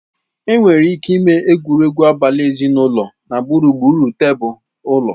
Enwere ike ịme egwuregwu abali ezinụlọ na gburugburu tebụl ụlọ.